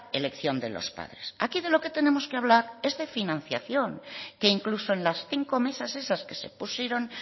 elección de los padres aquí de lo que tenemos que hablar es de financiación que incluso en las cinco mesas esas que se pusieron